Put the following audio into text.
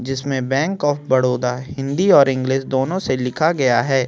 जिसमे bank of Baroda Hindi और English दोनों से लिखा गया है |